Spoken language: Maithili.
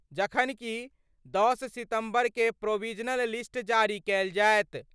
जखन कि 10 सितंबर क' प्रोविजनल लिस्ट जारी कयल जाएत।